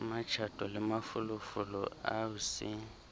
kamatjato le mafolofolo ao se